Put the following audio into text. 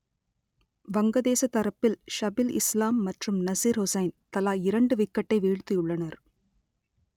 வங்கதேச தரப்பில் ஷபில் இஸ்லாம் மற்றும் நசிர் ஹுசைன் தலா இரண்டு விக்கெட்டை வீழ்த்தியுள்ளனர்